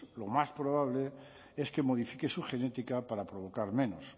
lo más probable es que modifique su genética para provocar menos